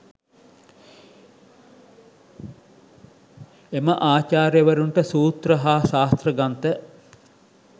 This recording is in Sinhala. එම ආචාර්යවරුන්ට සූත්‍ර හා ශාස්ත්‍ර ග්‍රන්ථ